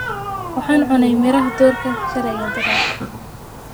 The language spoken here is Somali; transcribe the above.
waxaan cunne miraha durka shaley iyo darad